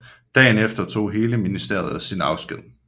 Dagen efter tog hele ministeriet sin afsked